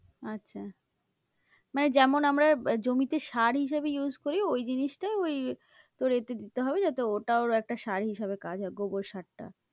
আচ্ছা মানে যেমন আমরা জমিতে সার হিসাবে use করি, ওই জিনিসটাই ওই তোর এ তে দিতে হবে যাতে ওটা ওর একটা সার হিসাবে কাজ হয়, গোবর সারটা।